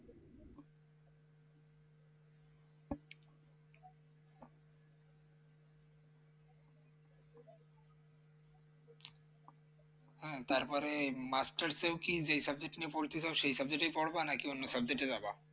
হ্যাঁ তারপরে masters এও কি যেই subject টা নিয়ে পড়তে হয় সেই subject এই পড়বা নাকি নাকি অন্য subject এ যাবা